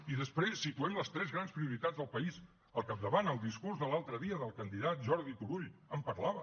i després situem les tres grans prioritats del país al capdavant el discurs de l’altre dia del candidat jordi turull en parlava